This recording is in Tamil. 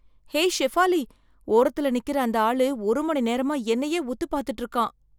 ஹே ஷெஃபாலி! ஓரத்துல நிக்கிற அந்த ஆளு, ஒரு மணி நேரமா என்னையே உத்து பாத்துட்டு இருக்கான்.